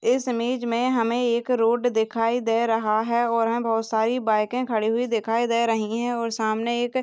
इस इमेज में हमे एक रोड दिखाई दे रहा है और हमे बहुत सारी बाइके खड़ी हुई दिखाई दे रही है और सामने एक--